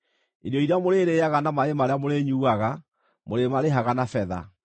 Irio iria mũrĩrĩĩaga na maaĩ marĩa mũrĩnyuuaga mũrĩmarĩhaga na betha.’ ”